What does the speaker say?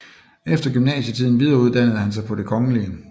Efter gymnasietiden videreuddannede han sig på Det Kgl